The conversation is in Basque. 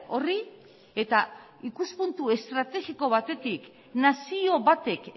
horri eta ikuspuntu estrategiko batetik nazio batek